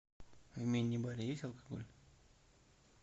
в мини баре есть алкоголь